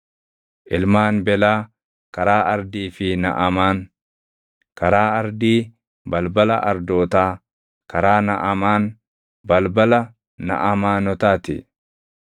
Ilmaan Belaa, karaa Ardii fi Naʼamaan: karaa Ardii, balbala Ardootaa; karaa Naʼamaan, balbala Naʼamaanotaa ti.